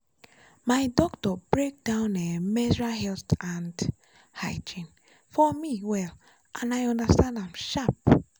my doctor break down um menstrual health and hygiene for me well and i understand am sharp.